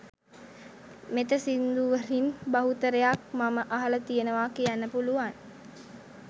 මෙත සිංදුවලින් බහුතරයක් මම අහල තියනවා කියන්න පුළුවං.